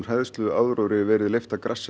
hræðsluáróðri verið leyft að grassera